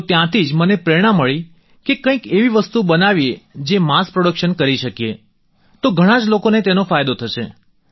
તો ત્યાંથી જ મને પ્રેરણા મળી કે કંઈક એવી વસ્તુ બનાવીએ જે માસ પ્રોડક્શન કરી શકીએ તો ઘણાં જ લોકોને તેનો ફાયદો થશે